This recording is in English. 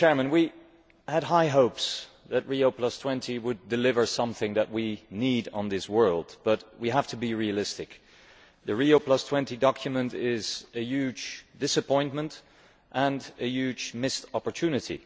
We had high hopes that Rio20 would deliver something that we need in this world, but we have to be realistic. The Rio20 document is a huge disappointment and a huge missed opportunity.